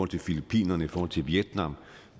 til filippinerne i forhold til vietnam